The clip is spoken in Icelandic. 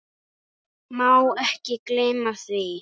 Má ekki gleyma því.